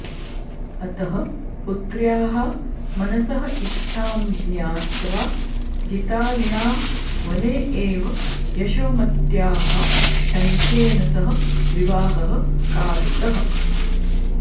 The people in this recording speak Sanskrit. अतः पुत्र्याः मनसः इच्छां ज्ञात्वा जितारिणा वने एव यशोमत्याः शङ्खेन सह विवाहः कारितः